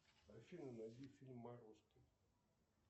афина найди фильм морозко